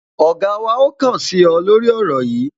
Ọ̀gá wa ó kàn sí ọ, lórí ọ̀rọ̀ yìí